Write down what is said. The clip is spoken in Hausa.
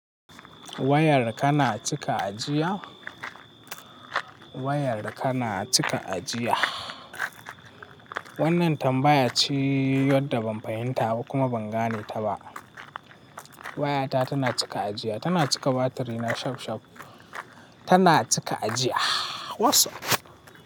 Wayar kana cika ajiya? Wayar ka na cika ajiya? Wannan tambaya ce wadda ban fahimta ba kuma ban gane ta ba. Wayata tana cika ajiya, tana cika batiri na shafshaf, tana cika ajiya. WhatsApp.